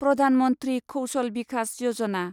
Pradhan Mantri Kaushal Vikas Yojana